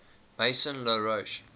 maison la roche